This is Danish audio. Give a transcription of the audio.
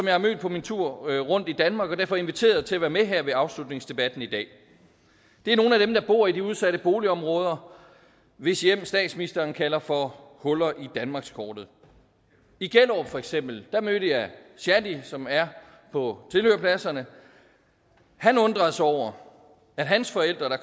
har mødt på min tur rundt i danmark har jeg derfor inviteret til at være med her ved afslutningsdebatten i dag det er nogle af dem der bor i de udsatte boligområder hvis hjem statsministeren kalder for huller i danmarkskortet i gellerup for eksempel mødte jeg shadi som er på tilhørerpladserne han undrede sig over at hans forældre der